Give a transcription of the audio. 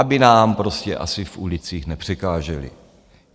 Aby nám prostě asi v ulicích nepřekáželi.